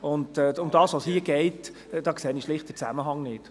Bei dem, worum es hier geht, sehe ich schlicht den Zusammenhang nicht.